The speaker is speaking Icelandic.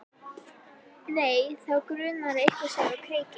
Nei, þá grunar að eitthvað sé á kreiki.